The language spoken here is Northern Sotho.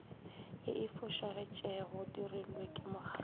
ye e fošagetšegodirilwe ke mokgadi